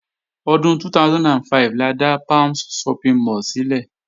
Ọdún 2005 la dá Palms Shopping mall sílẹ̀